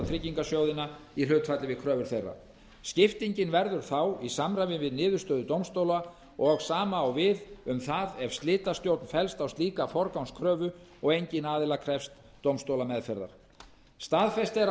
á tryggingarsjóðina í hlutfalli við kröfur þeirra skiptingin verður þá í samræmi við niðurstöðu dómstóla og sama á við um það ef slitastjórn fellst á slíka forgangskröfu og enginn aðila krefst dómstólameðferðar staðfest er að